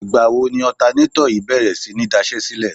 Ìgbà wo ni ọ̀tanátọ̀ yìí bèrè sí ní daṣẹ́sílẹ̀?